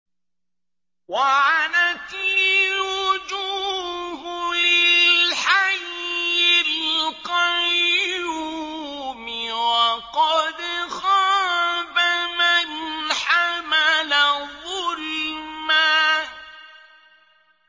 ۞ وَعَنَتِ الْوُجُوهُ لِلْحَيِّ الْقَيُّومِ ۖ وَقَدْ خَابَ مَنْ حَمَلَ ظُلْمًا